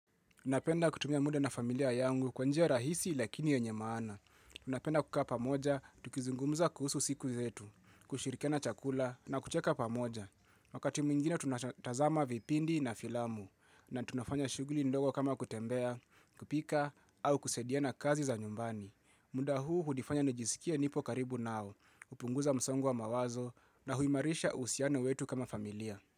Unapenda kutumia muda na familia yangu kwa njia rahisi lakini yenye maana. Napenda kukaa pamoja, tukizungumza kuhusu siku zetu, kushirikiana chakula na kucheka pamoja. Wakati mwingine tunatazama vipindi na filamu, na tunafanya shughuli ndogo kama kutembea, kupika, au kusaidiana kazi za nyumbani. Muda huu hunifanya nijisikie nipo karibu nao, hupunguza msongo wa mawazo na huimarisha uhusiano wetu kama familia.